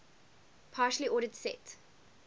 partially ordered set